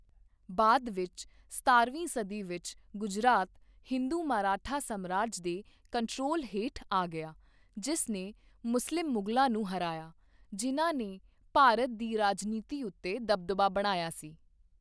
ਬਾਅਦ ਵਿੱਚ ਸਤਾਰਵੀਂ ਸਦੀ ਵਿੱਚ, ਗੁਜਰਾਤ ਹਿੰਦੂ ਮਰਾਠਾ ਸਾਮਰਾਜ ਦੇ ਕੰਟਰੋਲ ਹੇਠ ਆ ਗਿਆ, ਜਿਸ ਨੇ ਮੁਸਲਿਮ ਮੁਗਲਾਂ ਨੂੰ ਹਰਾਇਆ, ਜਿਨ੍ਹਾਂ ਨੇ ਭਾਰਤ ਦੀ ਰਾਜਨੀਤੀ ਉੱਤੇ ਦਬਦਬਾ ਬਣਾਇਆ ਸੀ।